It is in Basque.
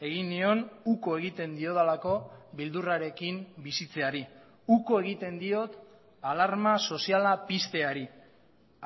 egin nion uko egiten diodalako beldurrarekin bizitzeari uko egiten diot alarma soziala pizteari